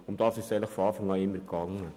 Das war auch seit Beginn das Anliegen.